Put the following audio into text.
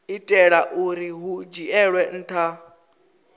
itela uri hu dzhielwe nha